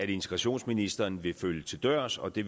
integrationsministeren vil følge til dørs og det